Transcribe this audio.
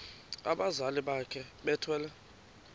abazali bakhe bethwele